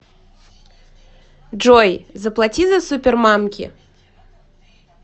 джой заплати за супермамки